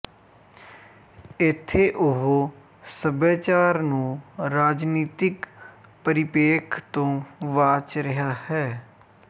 ਇਥੇ ਉਹ ਸਭਿਆਚਾਰ ਨੂੰ ਰਾਜਨੀਤਿਕ ਪਰਿਪੇਖ ਤੋਂ ਵਾਚ ਰਿਹਾ ਹੈ